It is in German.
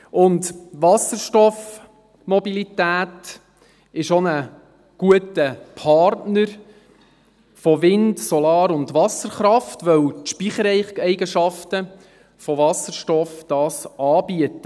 Und Wasserstoffmobilität ist auch ein guter Partner von Wind-, Solar- und Wasserkraft, weil die Speichereigenschaften von Wasserstoff das anbieten.